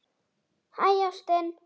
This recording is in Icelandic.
Hæ, ástin.